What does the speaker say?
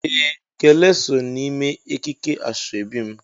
ee ,Gele so n'ime ekike asobi mu.